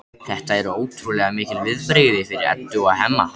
Þetta eru ótrúlega mikil viðbrigði fyrir Eddu og Hemma.